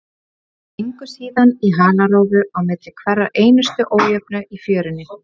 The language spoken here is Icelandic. Þeir gengu síðan í halarófu á milli hverrar einustu ójöfnu í fjörunni.